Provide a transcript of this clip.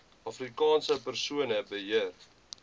afrikaanse persone beheer